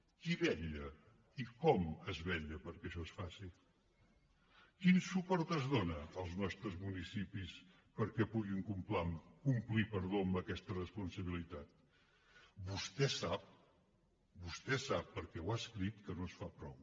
qui vetlla i com es vetlla perquè això es faci quin suport es dóna als nostres municipis perquè puguin complir amb aquesta responsabilitat vostè sap vostè ho sap perquè ho ha escrit que no es fa prou